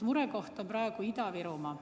Murekoht on praegu Ida‑Virumaa.